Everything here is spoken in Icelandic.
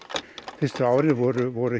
fyrstu árin voru voru